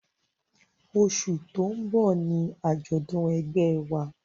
Oṣù tó ń bọ̀ ni àjọ̀dún ẹgbẹ́ ẹ wa